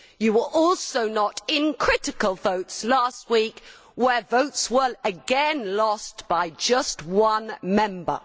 You were also not in critical votes last week where votes were again lost by just one member.